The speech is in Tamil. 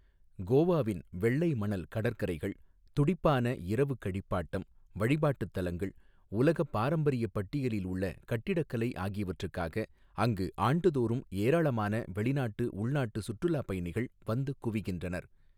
கோவாவின் வெள்ளை மணல் கடற்கரைகள், துடிப்பான இரவுக் கழிப்பாட்டம், வழிபாட்டுத் தலங்கள், உலகப் பாரம்பரியப் பட்டியலில் உள்ள கட்டிடக்கலை ஆகியவற்றுக்காக அங்கு ஆண்டுதோறும் ஏராளமான வெளிநாட்டு, உள்நாட்டு சுற்றுலாப் பயணிகள் வந்து குவிகின்றனர்.